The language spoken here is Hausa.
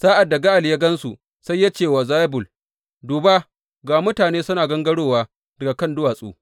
Sa’ad da Ga’al ya gan su, sai ya ce wa Zebul, Duba, ga mutane suna gangarowa daga kan duwatsu!